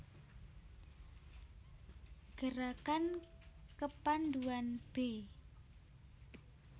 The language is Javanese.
Gerakan Kepandhuan b